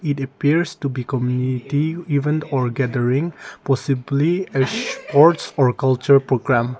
it appears to become a event or gathering possibly a sports or culture program.